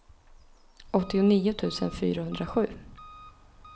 åttionio tusen fyrahundrasju